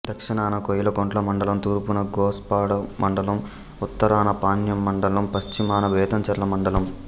దక్షణాన కోయిలకుంట్ల మండలం తూర్పున గోస్పాడు మండలం ఉత్తరాన పాణ్యం మండలం పశ్చిమాన బేతంచెర్ల మండలం